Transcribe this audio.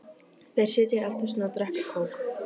Þær sitja í eldhúsinu og drekka kók.